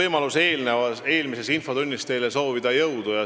Mul ei olnud eelmises infotunnis võimalust soovida teile jõudu.